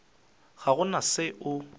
ga go na se o